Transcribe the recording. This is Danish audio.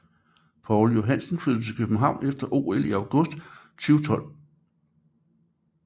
Pál Joensen flyttede til København efter OL i august 2012